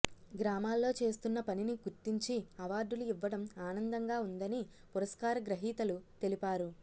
గ్రామాల్లో చేస్తున్న పనిని గుర్తించి అవార్డులు ఇవ్వడం ఆనందంగా ఉందని పురస్కార గ్రహీతలు తెలిపారు